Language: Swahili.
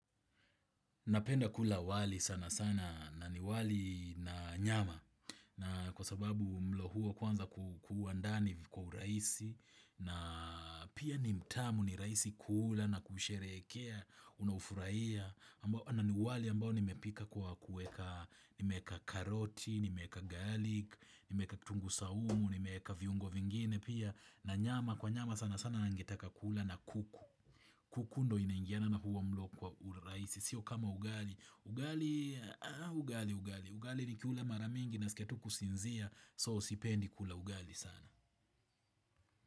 Napenda kula wali sana sana na ni wali na nyama na kwa sababu mlo huo kwanza kua ndani kwa urahisi na pia ni mtamu ni rahisi kuula na kusherehekea, unau furahia wali ambao nimepika kwa kuweka nimeweka karoti nimeweka garlic nimeweka kituu saumu nimeweka viungo vingine pia na nyama kwa nyama sana sana ningetaka kula na kuku. Kuku ndio inaingiana na huo mlo kwa uraisi. Sio kama ugali. Ugali, ugali, ugali ugali nikiula mara mingi nasikia tu kusinzia. So sipendi kula ugali sana.